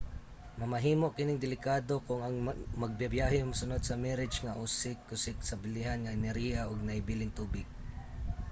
mamahimo kining delikado kung ang magbabyahe musunod sa mirage nga usik-usik sa bilihon nga enerhiya ug nahibiling tubig